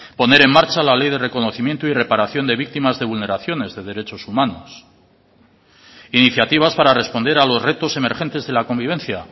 poner en marcha la ley de reconocimiento y reparación de victimas de vulneraciones de derechos humanos iniciativas para responder a los retos emergentes de la convivencia